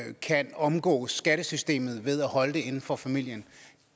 ikke kan omgå skattesystemet ved at holde det inden for familien